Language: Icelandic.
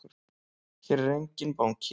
Hér er enginn banki!